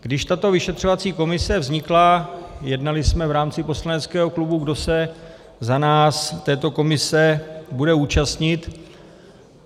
Když tato vyšetřovací komise vznikla, jednali jsme v rámci poslaneckého klubu, kdo se za nás této komise bude účastnit.